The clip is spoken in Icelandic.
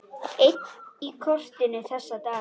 Einn í kotinu þessa dagana.